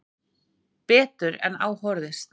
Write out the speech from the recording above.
Betur en á horfðist.